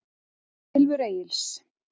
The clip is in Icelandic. Silfur Egils.